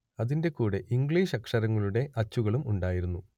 അതിന്റെ കൂടെ ഇംഗ്ലീഷ് അക്ഷരങ്ങളുടെ അച്ചുകളും ഉണ്ടായിരുന്നു